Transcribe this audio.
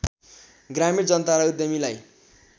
ग्रामीण जनता र उद्यमीलाई